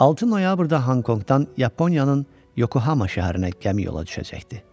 Altı noyabrda Honkonqdan Yaponiyanın Yokohama şəhərinə gəmi yola düşəcəkdi.